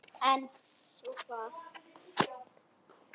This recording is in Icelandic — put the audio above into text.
En svo hvað?